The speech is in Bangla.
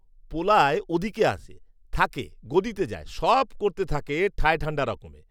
পোলায় ওদিগে আছে, থাকে, গদিতে যায়; সব করতে থাকে ঠায়ঠান্ডা রকমে